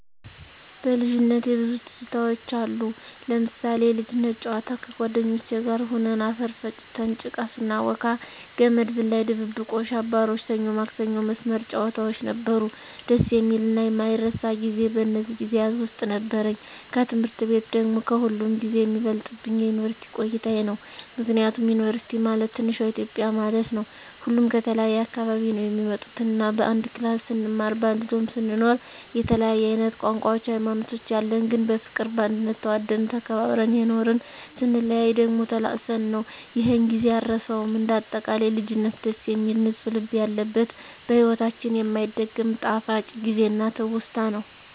በልጅነቴ ብዙ ትዝታውች አሉ... ለምሳሌ፦ የልጅነት ጨዋታ ከጓደኞቼ ጋር ሁነን አፈር ፈጭተን ጭቃ ስናቦካ፣ ገመድ ዝላይ፣ ድብብቆሽ፣ አባሮሽ፣ ሰኞ ማክሰኞ መስመር ጨዋታውች ነበሩ። ደስ የሚልና የማይረሳ ጊዜ በእነዚህ ጊዜያት ውስጥ ነበረኝ። ከትምህርት ቤት ደግሞ ከሁሉም ጊዜ የሚበልጥብኝ የዩንቨርስቲ ቆይታየ ነው። ምክንያቱም ዩንቨርስቲ ማለት ትንሿ ኢትዮጵያ ማለት ነው። ሁሉም ከተለያየ አካባቢ ነው የሚመጡት እና በአንድ ክላስ ስንማር በአንድ ዶርሞ ስንኖር የተለያየ አይነት ቋንቋውች ሀይማኖቶች ያለን ግን በፍቅር በአንድነት ተዋደን ተከባብረን የኖርን ....ስንለያይ ደግሞ ተላቅሰን ነው ይሔን ጊዜ አረሳውም። እንደ አጠቃላይ ልጅነት ደስ የሚል ንፁህ ልብ ያለበት በሒወታችን የማይደገም ጣፋጭ ጊዜና ትውስታ ነው።